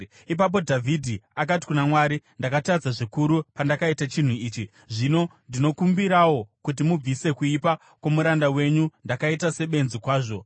Ipapo Dhavhidhi akati kuna Mwari, “Ndakatadza zvikuru pandakaita chinhu ichi. Zvino ndinokumbirawo kuti mubvise kuipa kwomuranda wenyu. Ndakaita sebenzi kwazvo.”